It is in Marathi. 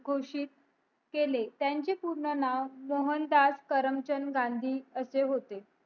घोषित केले त्याने पूर्ण नाव मोहदास करमचंद गांधी असे होते